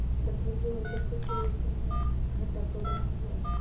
रखे हुए है उधर कुछ अ घटा के बना हुआ है।